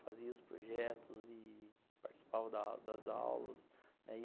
Fazia os projetos e participava das das aulas, né.